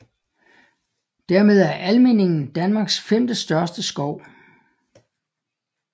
Dermed er Almindingen Danmarks femtestørste skov